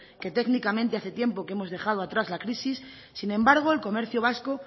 que técnicamente hace tiempo que hemos dejado atrás la crisis sin embargo el comercio vasco